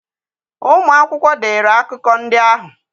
Ụmụ akwụkwọ dere akụkọ ndị ahụ.